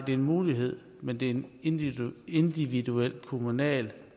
er en mulighed men det er en individuel individuel kommunal